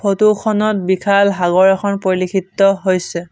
Photo খনত বিশাল সাগৰ এখন পৰিলক্ষিত হৈছে।